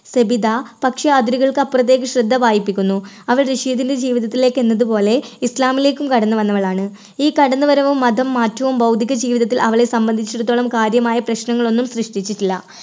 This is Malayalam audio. സബിത, പക്ഷേ അതിരുകൾക്ക് അപ്പുറത്തേക്ക് ശ്രദ്ധ വായിപ്പിക്കുന്നു അവർ റഷീദിന്റെ ജീവിതത്തിലേക്ക് എന്നതുപോലെ ഇസ്ലാമിലേക്കും കടന്നു വന്നവളാണ്. ഈ കടന്നുവരവും മതം മാറ്റവും ഭൗതിക ജീവിതത്തിൽ അവളെ സംബന്ധിച്ചിടത്തോളം കാര്യമായ പ്രശ്നങ്ങളൊന്നും സൃഷ്ടിച്ചിട്ടില്ല.